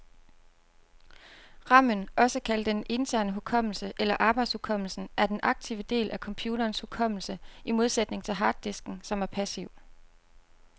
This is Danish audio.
Ramen, også kaldet den interne hukommelse eller arbejdshukommelsen, er den aktive del af computerens hukommelse, i modsætning til harddisken, som er passiv.